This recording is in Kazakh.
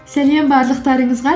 сәлем барлықтарыңызға